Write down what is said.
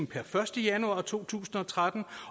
per første januar to tusind og tretten